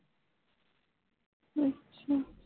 ਅੱਛਾ